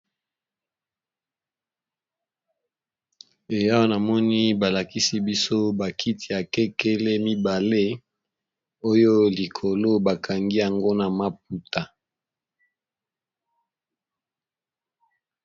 Awa namoni balakisi biso bakiti akekele mibale oyo likolo bakangi yango na maputa.